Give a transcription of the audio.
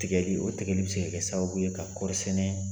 Tigɛli , o tigɛli be se ka kɛ sababu ye ka kɔri sɛnɛ